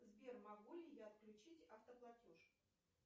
сбер могу ли я отключить автоплатеж